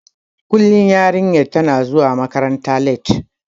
Kullum yarinyar tana zuwa makaranta latti.